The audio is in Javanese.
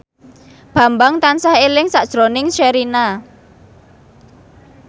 Bambang tansah eling sakjroning Sherina